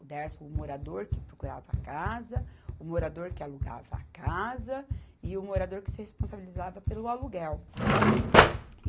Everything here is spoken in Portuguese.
O Dersa, o morador que procurava a casa, o morador que alugava a casa e o morador que se responsabilizava pelo aluguel.